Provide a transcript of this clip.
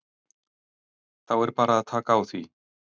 Þá er bara að taka því.